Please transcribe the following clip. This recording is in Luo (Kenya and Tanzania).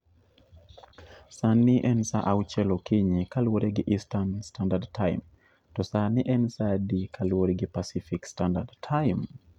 Sani en sa auchiel okinyi kaluwore gi Eastern Standard Time, to sani en sa adi kaluwore gi Pacific Standard Time